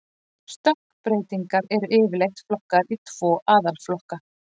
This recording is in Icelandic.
Stökkbreytingar eru yfirleitt flokkaðar í tvo aðalflokka.